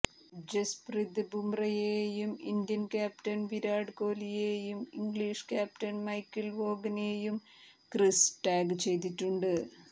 ജസ്പ്രിത് ബുമ്രയെയും Indian captain Virat കോലിയെയും English captain Michael വോഗനെയും ക്രിസ് ടാഗ് ചെയ്തിട്ടുണ്ട്